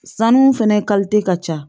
Sanu fɛnɛ ka ca